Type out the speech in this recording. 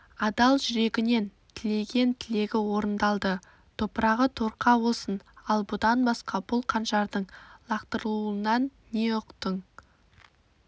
адал жүрегінен тілеген тілегі орындалды топырағы торқа болсын ал бұдан басқа бұл қанжардың лақтырылуынан не ұқтың